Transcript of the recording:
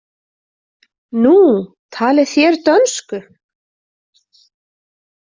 Nú, talið þér dönsku?